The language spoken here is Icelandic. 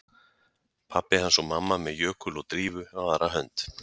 Pabbi hans og mamma með Jökul og Drífu á aðra hönd